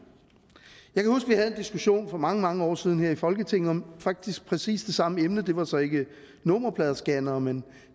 jeg en diskussion for mange mange år siden her i folketinget om faktisk præcis det samme emne det var så ikke nummerpladescannere men